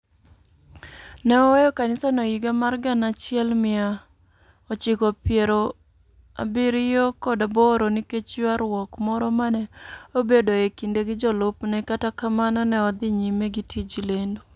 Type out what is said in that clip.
Ne oweyo kanisano e higa mar gana achiel mia ochako pierogi abiriyo kod aboro nikech ywaruok moro ma ne obedoe e kinde gi jolupne, kata kamano, ne odhi nyime gi tij lendo.